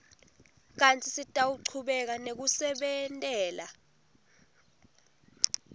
kantsi sitawuchubeka nekusebentela